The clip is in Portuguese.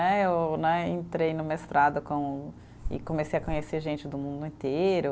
Né, eu né, entrei no mestrado com, e comecei a conhecer gente do mundo inteiro.